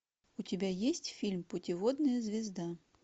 у тебя есть фильм путеводная звезда